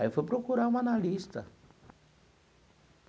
Aí eu fui procurar um analista.